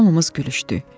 Hamımız gülüşdük.